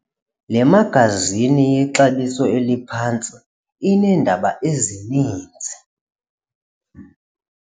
Le magazini yexabiso eliphantsi ineendaba ezininzi.